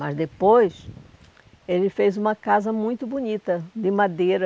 Mas depois, ele fez uma casa muito bonita, de madeira.